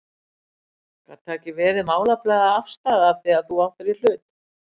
Gat það ekki verið málefnaleg afstaða af því að þú áttir í hlut?